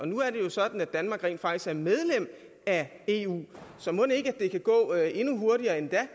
nu er det jo sådan at danmark rent faktisk er medlem af eu så mon ikke det kan gå endnu hurtigere endda